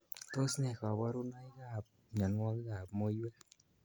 Tos ne kaburunoik ab mnyenwokik ab muiywek.